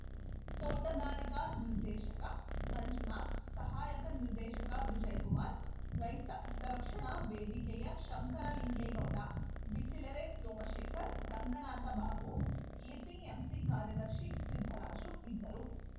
ತೋಟಗಾರಿಕಾ ನಿರ್ದೇಶಕ ಮಂಜುನಾಥ್‌ ಸಹಾಯಕ ನಿರ್ದೇಶಕ ವಿಜಯ್‌ ಕುಮಾರ್‌ ರೈತ ಹಿತರಕ್ಷಣಾ ವೇದಿಕೆಯ ಶಂಕರಲಿಂಗೇಗೌಡ ಬಿಸಲೆರೆ ಸೋಮಶೇಖರ್‌ ರಂಗನಾಥ ಬಾಬು ಎಪಿಎಂಸಿ ಕಾರ್ಯದರ್ಶಿ ಸಿದ್ದರಾಜು ಇದ್ದರು